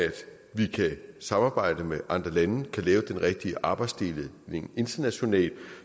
vi kan samarbejde med andre lande og kan lave den rigtige arbejdsdeling internationalt